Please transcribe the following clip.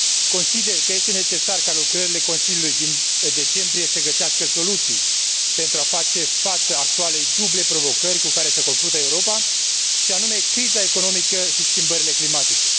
Consider că este necesar ca lucrările Consiliului din decembrie să găsească soluții pentru a face față actualei duble provocări cu care se confruntă Europa, și anume criza economică și schimbările climatice.